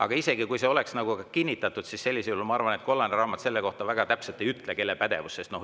Aga isegi kui see oleks kinnitatud, ma arvan, et kollane raamat selle kohta väga täpselt ei ütle, kelle pädevuses see on.